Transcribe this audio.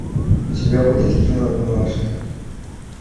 у тебя будет кино милашка